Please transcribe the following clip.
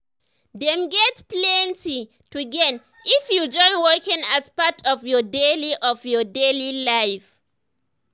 them get plenty to gain if you join walking as part of your daily of your daily life.